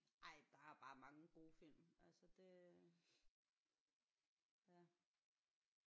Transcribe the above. Ej der er bare mange gode film altså det ja